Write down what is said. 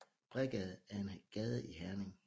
Bredgade er en gade i Herning